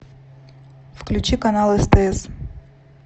включи канал стс